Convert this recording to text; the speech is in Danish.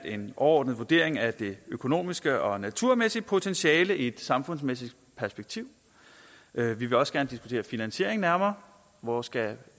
en overordnet vurdering af det økonomiske og naturmæssige potentiale i et samfundsmæssigt perspektiv vi vil også gerne diskutere finansiering nærmere hvor skal